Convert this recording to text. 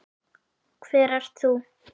Hver ert þú?